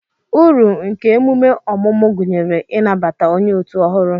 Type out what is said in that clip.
Uru nke emume ọmụmụ gụnyere ị nabata onye otu ọhụrụ.